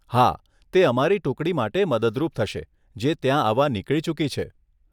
હા, તે અમારી ટુકડી માટે મદદરૂપ થશે જે ત્યાં આવવા નીકળી ચૂકી છે.